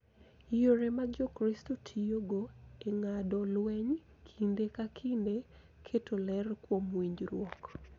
Yore ma Jokristo tiyogo e ng�ado lweny kinde ka kinde keto ler kuom winjruok .